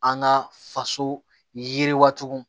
An ka faso yiriwatugu